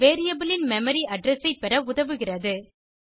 variable ன் memory address ஐ பெற பயன்படுகிறது